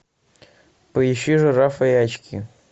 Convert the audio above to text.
поищи жирафа и очки